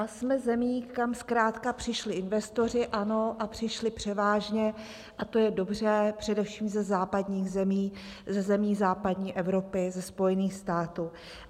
A jsme zemí, kam zkrátka přišli investoři, ano, a přišli převážně, a to je dobře, především ze západních zemí, ze zemí západní Evropy, ze Spojených států.